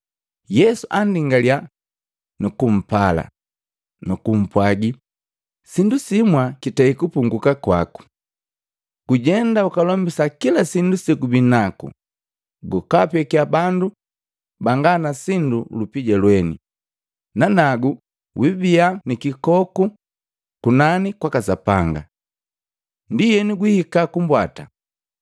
Yesu andingaliya, nukumpala, nukumpwagi, “Sindu simwa kitei kupunguu kwaku. Gujenda ukalombisa kila sindu segubinaku, gwapekya bandu banga na sindu lupija lweni, nanagu wiibia nikikoku kunani kwaka Sapanga. Ndienu gwihika kumbwata.”